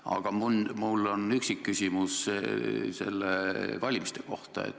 Aga mul on üksikküsimus valimiste kohta.